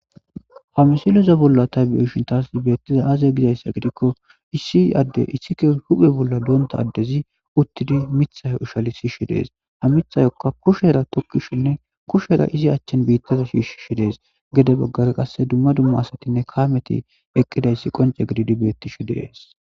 Ha misileza bolla ta beyishini tasi betishe dizayisi aze gida gidiko issi adeyi issi huphe bola donita adezi utidi mitha ushalisishe desi ha mithaka kushera tokishene kushera izi achani bitaza shishe desi gede baggara qassi duma duma asatine kameti eqidayisi qoncce gididi benitishe dessi